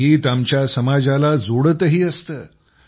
संगीत आमच्या समाजाला जोडतही असतं